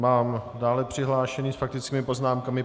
Mám dále přihlášené s faktickými poznámkami.